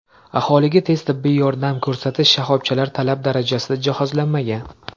Aholiga tez tibbiy yordam ko‘rsatish shoxobchalari talab darajasida jihozlanmagan.